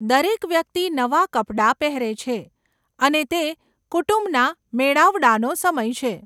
દરેક વ્યક્તિ નવા કપડાં પહેરે છે અને તે કુટુંબના મેળાવડાનો સમય છે.